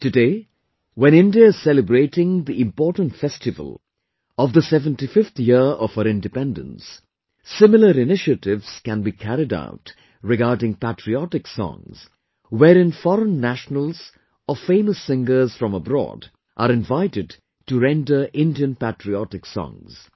Today, when India is celebrating the important festival of 75th year of its Independence, similar initiatives can be carried out regarding patriotic songs, wherein foreign nationals or famous singers from abroad are invited to render Indian patriotic songs